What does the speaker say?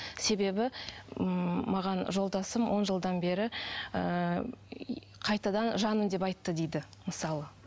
себебі ммм маған жолдасым он жылдан бері ыыы қайтадан жаным деп айтты дейді мысалы